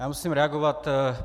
Já musím reagovat.